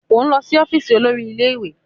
O n lọ si ọfiisi olori ile-iwe!